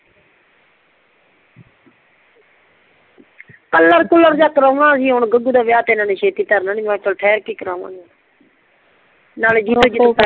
colour ਕੁੱਲਰ ਜੀਅ ਕਰਾਵਾਂਗੀ ਹੁਣ ਗਗੁ ਦਾ ਵਿਆਹ ਤੇ ਇੰਨਾ ਨੇ ਛੇਤੀ ਤਰਨਾ ਨਹੀਂ ਮੈਂ ਕਿਹਾ ਠਹਰ ਕੇ ਹੀ ਕਰਾਂਗੀ